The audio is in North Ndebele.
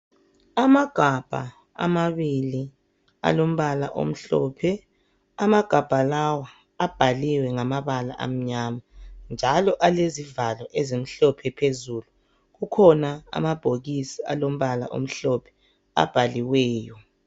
Amagabha amabili alombala omhlophe. Amagabha lawa abhaliwe ngamabala amnyama njalo alezivalo ezimhlophe phezulu .Kukhona amabhokisi alombala omhlophe. abhaliweyo.